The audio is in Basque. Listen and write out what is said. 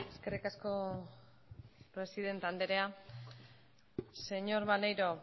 eskerrik asko presidente anderea señor maneiro